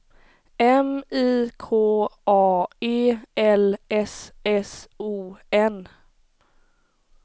M I K A E L S S O N